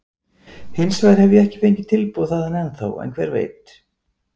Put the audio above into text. Hinsvegar hef ég ekki fengið tilboð þaðan ennþá, en hver veit?